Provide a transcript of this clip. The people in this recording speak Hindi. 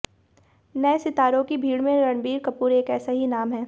नए सितारों की भीड़ में रणबीर कपूर एक ऐसा ही नाम है